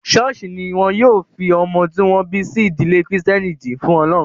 Ṣọ́ọ̀ṣì ní wọn yóò ti fi ọmọ tí wọ́n bí sí ìdílé kìrìtẹ́nì jì fún ọlọ́run.